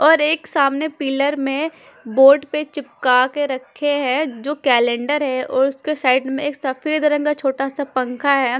और एक सामने पिलर में बोर्ड पे चिपका के रखे है जो केलेंडर है और उसके साइड में एक सफेद रंग का छोटा सा पँखा है।